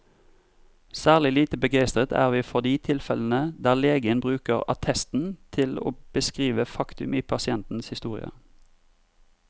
Særlig lite begeistret er vi for de tilfellene der legen bruker attesten til å beskrive faktum i pasientens historie.